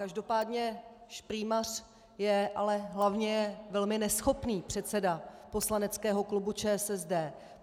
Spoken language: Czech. Každopádně šprýmař je, ale hlavně je velmi neschopný předseda poslaneckého klubu ČSSD.